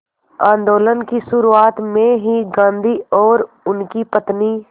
आंदोलन की शुरुआत में ही गांधी और उनकी पत्नी